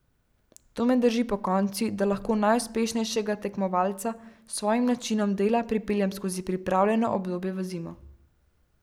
To me drži pokonci, da lahko najuspešnejšega tekmovalca s svojim načinom dela pripeljem skozi pripravljalno obdobje v zimo.